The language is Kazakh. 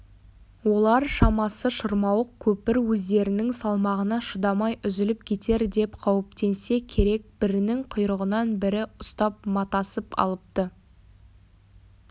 олар шамасы шырмауық көпір өздерінің салмағына шыдамай үзіліп кетер деп қауіптенсе керек бірінің құйрығынан бірі ұстап матасып алыпты